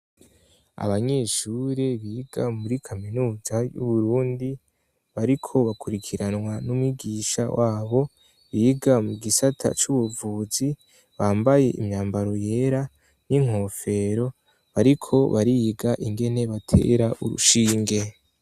Abanyeshure biga muri kaminuza y'uburundi bariko bakurikiranwa n'umugisha wabo biga mu gisata c'ubuvuzi bambaye imyambaro yera n'inkofero bariko bariga ingene batera urushinge.